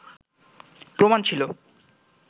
প্রমাণ ছিল